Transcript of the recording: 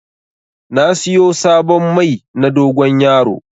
Na siyo sabon Mai na dogon yaro